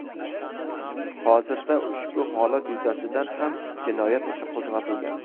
Hozirda ushbu holat yuzasidan ham jinoyat ishi qo‘zg‘atilgan.